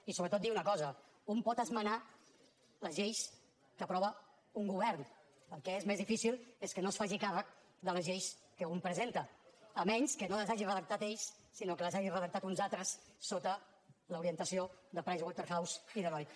i sobretot dir una cosa un pot esmenar les lleis que aprova un govern el que és més difícil és que no es faci càrrec de les lleis que un presenta llevat que no les hagin redactat ells sinó que les hagin redactat uns altres sota l’orientació de pricewaterhouse i deloitte